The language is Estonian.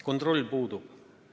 Kontroll puudub.